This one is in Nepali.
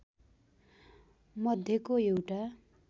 मध्येको एउटा